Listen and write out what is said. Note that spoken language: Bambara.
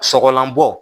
Sɔgɔlanbɔ